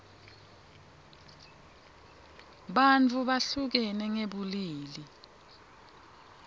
bantfu behlukene ngebulili